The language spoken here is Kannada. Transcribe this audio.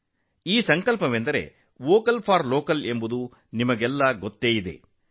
ನಿಮಗೆಲ್ಲ ಗೊತ್ತೇ ಇದೆ ಇದು ವೋಕಲ್ ಫಾರ್ ಲೋಕಲ್ನ ಸಂಕಲ್ಪ